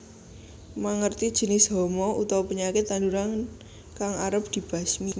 Mangertèni janis hama utawa penyakit tanduran kang arep dibasmi